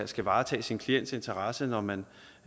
skal varetage sin klients interesse når man